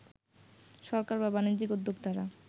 সরকার বা বাণিজ্যিক উদ্যোক্তারা